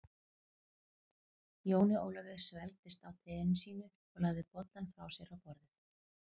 Jóni Ólafi svelgdist á teinu sínu og lagði bollann frá sér á borðið.